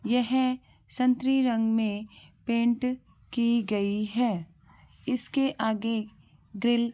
यह संतरी रंग मे पैंट की गई है इसके आगे ग्रिल--